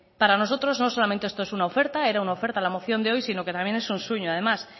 para nosotros no solamente esto es una oferta era una oferta la moción de hoy sino que también es un sueño además